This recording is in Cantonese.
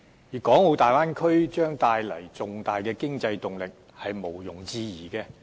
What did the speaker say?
粵港澳大灣區將帶來重大的經濟動力是毋庸置疑的。